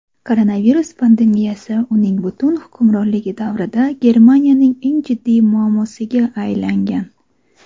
koronavirus pandemiyasi uning butun hukmronligi davrida Germaniyaning eng jiddiy muammosiga aylangan.